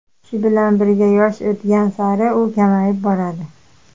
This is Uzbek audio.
Shu bilan birga, yosh o‘tgan sari u kamayib boradi.